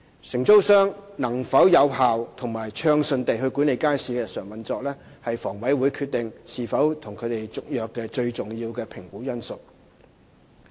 承租商能否有效及暢順地管理街市的日常運作，是房委會決定是否與其續約的最重要評估因素。